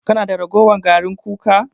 Kana da ragowar garin kuka?